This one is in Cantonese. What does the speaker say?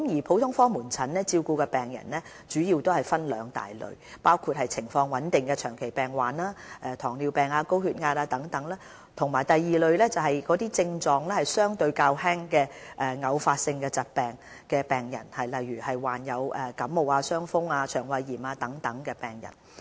普通科門診照顧的病人主要分為兩大類，包括情況穩定的長期病患者，例如糖尿病、高血壓病人等，以及症狀相對較輕的偶發性疾病病人，例如患有感冒、傷風、腸胃炎等的病人。